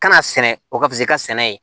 Kana sɛnɛ o ka fusi i ka sɛnɛ ye